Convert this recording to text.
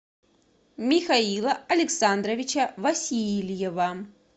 михаила александровича васильева